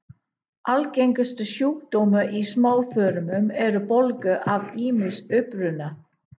Algengustu sjúkdómar í smáþörmum eru bólgur af ýmsum uppruna.